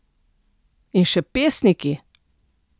In še pesniki!